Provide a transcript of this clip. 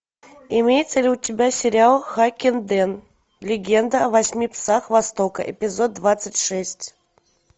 имеется ли у тебя сериал хаккенден легенда о восьми псах востока эпизод двадцать шесть